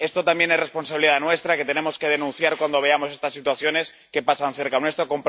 Esto también es responsabilidad nuestra, tenemos que denunciar cuando veamos estas situaciones que pasan cerca nuestro.